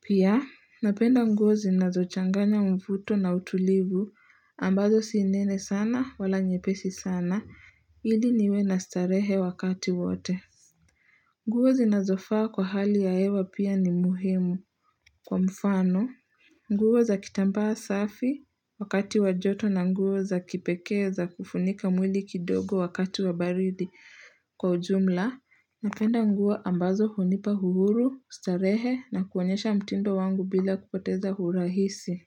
Pia, napenda nguo zinazo changanya mvuto na utulivu ambazo sinene sana wala nye pesi sana. Ili niwe na starehe wakati wote. Nguo zinazofaa kwa hali ya hewa pia ni muhimu. Kwa mfano, nguo za kitambaa safi wakati wajoto na nguo za kipekee za kufunika mwili kidogo wakati wabaridi kwa ujumla, napenda nguo ambazo hunipa uhuru, ustarehe na kuonyesha mtindo wangu bila kupoteza hurahisi.